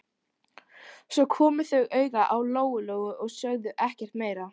Svo komu þau auga á Lóu-Lóu og sögðu ekkert meira.